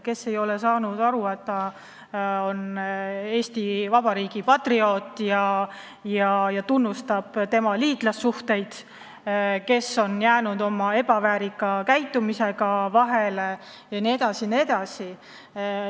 Kes ei ole saanud aru, et ta peaks olema Eesti Vabariigi patrioot ja tunnustama riigi liitlassuhteid, kes on jäänud vahele ebaväärika käitumisega, jne, jne.